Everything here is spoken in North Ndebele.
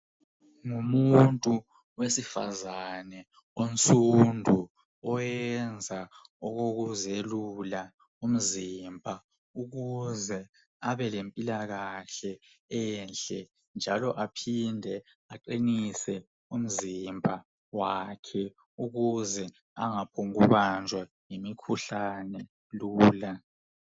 Ngumuntu wesifazana onsundu oyenza okokuzelula umzimba ukuze abelempilakahle enhle njalo aphinde aqinise umzimba wakhe ukuze angaphongu banjwa yimikhuhlane lula.